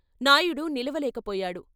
Naidu నిలవలేకపోయాడు.